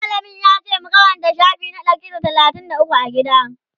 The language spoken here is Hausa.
mallamin yace mu Karanta shafi na Ɗari da talatin da ukwu a gida?